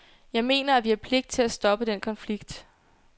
Jeg mener, at vi har pligt til at stoppe den konflikt.